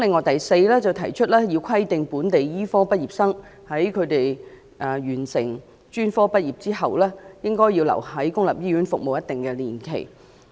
第四，規定本地醫科畢業生在專科畢業後須在公立醫院服務一定年期。